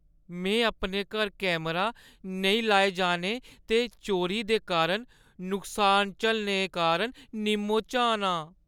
में अपने घर कैमरा नेईं लाए जाने ते चोरी दे कारण नुकसान झल्लने कारण निम्मो-झान आं।